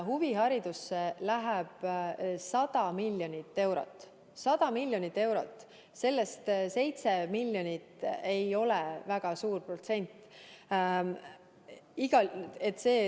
Huviharidusse läheb 100 miljonit eurot – 100 miljonit eurot –, sellest 7 miljonit ei ole väga suur protsent.